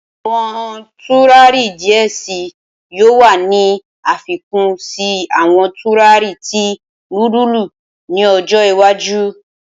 Awọn turari diẹ sii yoo wa ni afikun si awọn turari ti nudulu ni ojo iwaju.